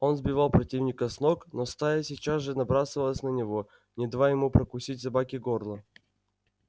он сбивал противника с ног но стая сейчас же набрасывалась на него не давая ему прокусить собаке горло